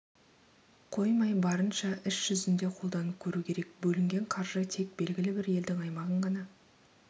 қоймай барынша іс жүзінде қолданып көру керек бөлінген қаржы тек белгілі бір елдің аймағын ғана